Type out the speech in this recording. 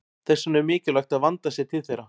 Þess vegna er mikilvægt að vandað sé til þeirra.